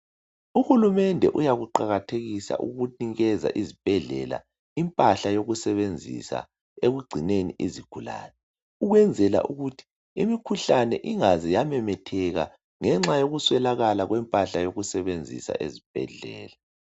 Uhulumende uyakuqakathekisa ukunikiza izibhedlela impahla yokusebenzisa ekugcineni izigulane ukwenzela ukuthi imikhuhlane ingaze yamemetheka ngenxa yoku swelakala kwempahla yokusebenzisa ezibhedlela.